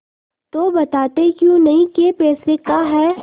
तो बताते क्यों नहीं कै पैसे का है